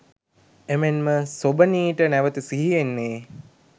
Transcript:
එමෙන්ම සොබනීට නැවත සිහි එන්නේ